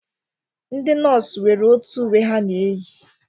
Ndị nọọsụ nwere otu uwe ha na-eyi